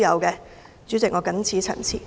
代理主席，我謹此陳辭。